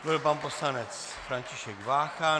To byl pan poslanec František Vácha.